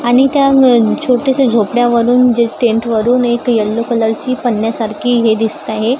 आणि त्या छोटेसे झोपड्यावरून जे टेन्टवरून एक यल्लो कलरची पंन्यासारखी हे दिसत आहे.